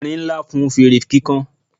erin Nla fún fere kikan